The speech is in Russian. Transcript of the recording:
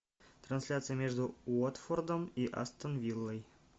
трансляция между уотфордом и астон виллой